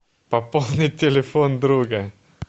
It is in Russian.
пополнить телефон друга